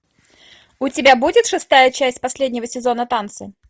у тебя будет шестая часть последнего сезона танцы